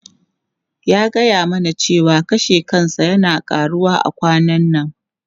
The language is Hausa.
Ya gaya mana cewa kashe kansa yana karuwa a kwanan nan.